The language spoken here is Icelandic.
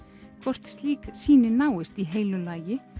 hvort slík sýni náist í heilu lagi